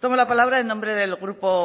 tomo la palabra en nombre del grupo